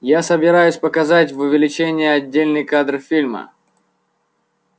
я собираюсь показать в увеличении отдельный кадр фильма